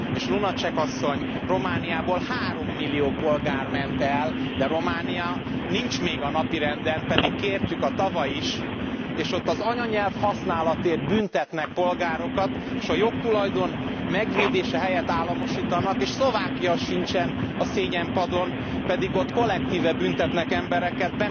És Lunacek asszony, Romániából 3 millió polgár ment el, de Románia nincs még a napirenden, pedig kértük tavaly is, és ott az anyanyelv használatért büntetnek polgárokat, és a jogtulajdon megvédése helyett államosítanak. És Szlovákia sincsen a szégyenpadon, pedig ott kollektíve büntetnek embereket